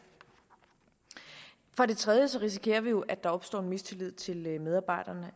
for det tredje risikerer vi jo at der opstår mistillid til medarbejderne